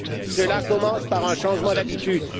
Cela commence par un changement d'habitudes.